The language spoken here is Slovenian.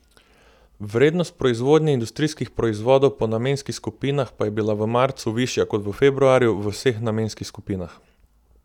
Vrednost proizvodnje industrijskih proizvodov po namenskih skupinah pa je bila v marcu višja kot v februarju v vseh namenskih skupinah.